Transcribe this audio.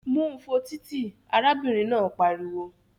Mú u fo títì! Arábìnrin náà pariwo